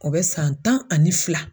O bɛ san tan ani fila